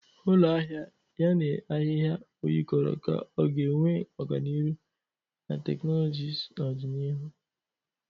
Ụlọ ahịa a na-ahịhịa o yikarịrị ka ọ ga-enwe ọganihu na teknụzụ n'ọdịnihu.